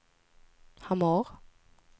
Hamar